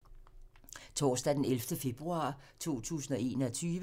Torsdag d. 11. februar 2021